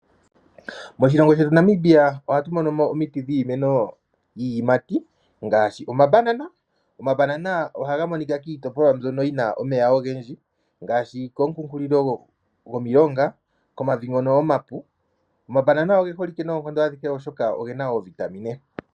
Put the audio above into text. Moshilongo shetu Namibia ohatu monomo omiti dhiimeno yiiyimati ngashi omabanana. Omabanana ohaga monika kiitopolwa mbyoka yi na omeya ogendji ngashi kunkulilo gomilonga, komavi ngono omapu. Omabanana oge holike nonkondo adhihe oshoka ogena oovitamine.